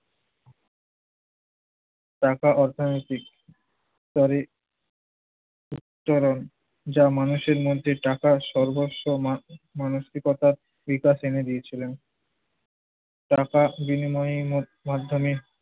পাকা অর্থনৈতিক স্তরে উত্তরণ। যা মানুষের মধ্যে টাকাসর্বস্ব মা~ মানসিকতার বিকাশ এনে দিয়েছিলেন। টাকার বিনিময়ে মাধ্যমে